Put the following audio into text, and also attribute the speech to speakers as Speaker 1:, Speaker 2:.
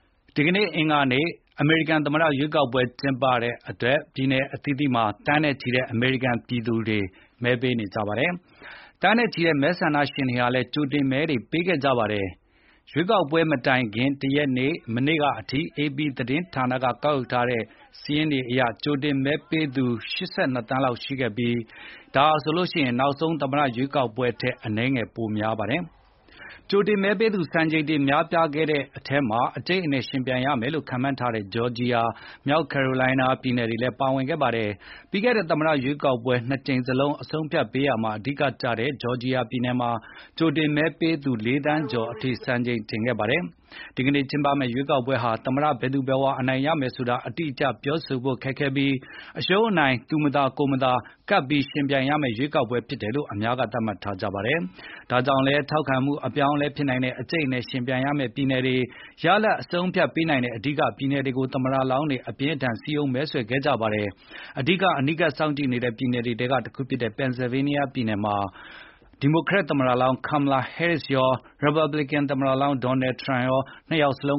Speaker 1: ဒီနေ့ အင်္ဂါနေ့ အမေရိကန် သမ္မတရွေးကောက်ပွဲ ကျင်းပတဲ့အတွက် ပြည်နယ်အသီးသီးက သန်းနဲ့ချီတဲ့ အမေရိကန်ပြည်သူတွေ မဲပေးဖို့ မဲရုံတွေကို သွားနေကြပါပြီ။ သန်းနဲ့ချီတဲ့ မဲဆန္ဒရှင်တွေလည်း ကြိုတင်မဲတွေ ပေးခဲ့ကြတာပါ။ရွေးကောက်ပွဲမတိုင်ခင်တရက် မနေ့ကအထိ AP သတင်းဌာနက ကောက်ယူထားတဲ့ စာရင်းအရ ကြိုတင်မဲပေးသူ ၈၂သန်းလောက် ရှိခဲ့ပြီး ဒါဟာဆိုရင် နောက်ဆုံး သမ္မတရွေးကောက်ပွဲထက် အနည်းငယ် ပိုများပါတယ်။ ကြိုတင်မဲပေးသူ စံချိန်တင် များပြားခဲ့တဲ့ထဲမှာ အကြိတ်အနယ်ယှဉ်ပြိုင်ရမယ်လို့ ခန့်မှန်းထားတဲ့ ဂျော်ဂျီယာ၊ မြောက်ကယ်ရိုလိုင်းနား ပြည်နယ်တွေလည်း ပါဝင်ခဲ့တာပါ။ ပြီးခဲ့တဲ့ သမ္မတရွေးကောက်ပွဲ ၂ ကြိမ်စလုံး အဆုံးအဖြတ်ပေးရာမှာ အဓိကကျခဲ့တဲ့ ဂျော်ဂျီယာပြည်နယ်မှာ ကြိုတင်မဲပေးသူ ၄ သန်း ကျော်အထိ စံချိန်ချိုးခဲ့ပါတယ်။ ဒီနေ့ ကျင်းပမယ့် ရွေးကောက်ပွဲဟာ သမ္မတဘယ်သူဘယ်ဝါ အနိုင်ရမယ်ဆိုတာ အတိအကျပြောဖို့ ခက်ခဲပြီးအရှုံးအနိုင် သူမသာကိုယ်မသာ ကပ်ပြီး ယှဉ်ပြိုင်ရမယ့် ရွေးကောက်ပွဲဖြစ်တယ်လို့ အများက သတ်မှတ်ထားကြတာပါ။ဒါကြောင့်လည်း ထောက်ခံမှုအပြောင်းအလဲဖြစ်နိုင်တဲ့၊ အကြိတ်အနယ် ယှဉ်ပြိုင်ရမယ့် ပြည်နယ်တွေ၊ ရလဒ်အဆုံးအဖြတ်ပေးနိုင်တဲ့ အဓိကပြည်နယ်တွေကို သမ္မတလောင်းတွေ အပြင်းအထန် စည်းရုံးမဲဆွယ်ခဲ့ကြပါတယ်။အဓိက အနီးကပ်စောင့်ကြည့်နေတဲ့ ပြည်နယ်တွေထဲက တခုဖြစ်တဲ့ Pennsylvania ပြည်နယ်မှာ ဒီမိုကရက်သမ္မတလောင်း Kamala Harris ရော၊ ရီပတ်ဘလစ်ကန်သမ္မလောင်း Donald Trump ပါ နှစ်ယောက်စလု